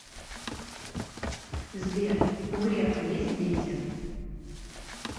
сбер у грефа есть дети